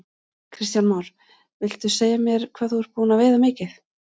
Kristján Már: Viltu segja mér hvað þú ert búinn að veiða mikið?